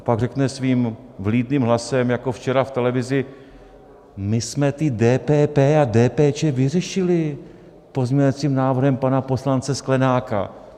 A pak řekne svým vlídným hlasem jako včera v televizi: my jsme ty DPP a DPČ vyřešili pozměňovacím návrhem pana poslance Sklenáka.